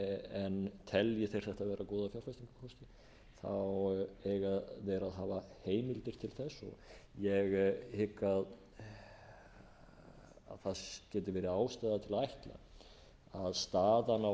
en telji þeir þetta vera góða fjárfestingarkosti eiga þeir að hafa heimildir til þess ég hygg að það geti verið ástæða til að ætla að staðan á